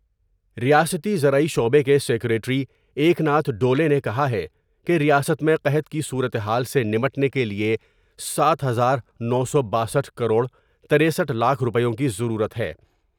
ریاستی زرعی شعبے کے سیکریٹری ایکناتھ ڈولے نے کہا ہے کہ ریاست میں قحط کی صورتحال سے نمٹنے کیلئے ساتھ ہزار نو سو باسٹھ کروڑ ترسٹھ لاکھ روپیوں کی ضرورت ہے ۔